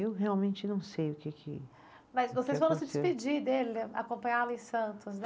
Eu realmente não sei o que que. Mas vocês foram se despedir dele, acompanhá-lo em Santos, né?